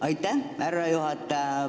Aitäh, härra juhataja!